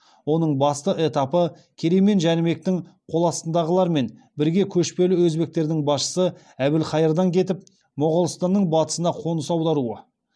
оның басты этапы керей мен жәнібектің қол астындағылармен бірге көшпелі өзбектердің басшысы әбілхайырдан кетіп моғолстанның батысына қоныс аударуы